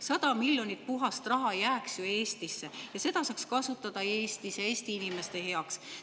100 miljonit puhast raha jääks Eestisse ja seda saaks kasutada Eestis, Eesti inimeste heaks.